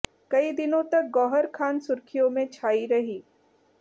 कई दिनों तक गौहर खान सुर्ख़ियों में छाई रहीं